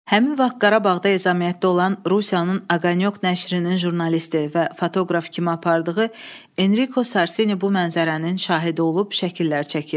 Həmin vaxt Qarabağda ezamiyyətdə olan Rusiyanın Aqaq nəşrinin jurnalisti və fotoqraf kimi apardığı Enriko Sarsini bu mənzərənin şahidi olub şəkillər çəkib.